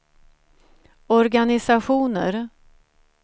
organisationer